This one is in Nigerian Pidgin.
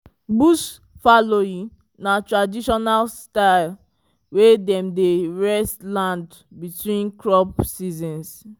bush fallowing na traditional style wey dem dey rest land between crop seasons.